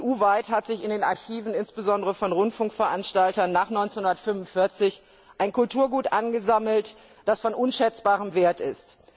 EU weit hat sich in den Archiven, insbesondere von Rundfunkveranstaltern nach 1945, ein Kulturgut angesammelt, das von unschätzbarem Wert ist.